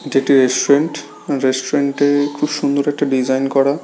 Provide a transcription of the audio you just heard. এটি একটি restaurant | restaurant -এ খুব সুন্দর একটা ডিজাইন করা।